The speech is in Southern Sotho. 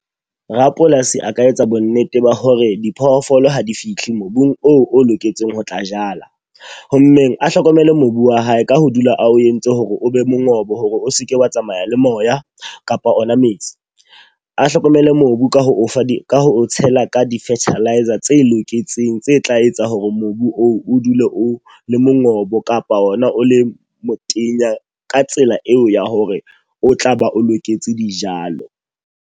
Rapolasi a ka etsa bo nnete ba hore diphoofolo ha di fihle mobung oo o loketseng ho tla jala. Ho mmeng a hlokomele mobu wa hae ka ho dula a o entse hore o be mongobo hore o seke wa tsamaya le moya kapa ona metsi. A hlokomele mobu ka ho o fa di ka o tshela ka di-fertiliser tse loketseng, tse tla etsang hore mobu o dule o le mongobo kapa ona o le motenya ka tsela eo ya hore o tla ba o loketse dijalo.